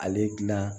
Ale gilan